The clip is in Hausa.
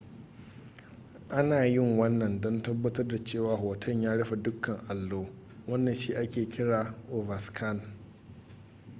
ana yin wannan don tabbatar da cewa hoton ya rufe dukkan allo wannan shi ake kira overscan